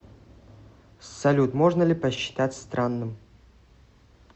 салют можно ли посчитать странным